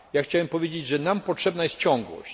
Chciałem powiedzieć, że nam potrzebna jest ciągłość.